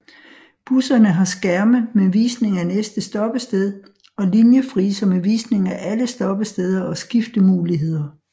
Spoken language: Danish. Busserne har skærme med visning af næste stoppested og linjefriser med visning af alle stoppesteder og skiftemuligheder